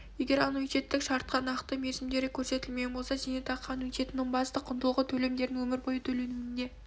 егер аннуитеттік шартта нақты мерзімдері көрсетілмеген болса зейнетақы аннуитетінің басты құндылығы төлемдердің өмір бойы төленуінде